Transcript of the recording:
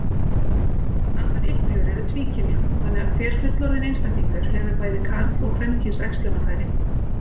Allar iglur eru tvíkynja, þannig að hver fullorðinn einstaklingur hefur bæði karl- og kvenkyns æxlunarfæri.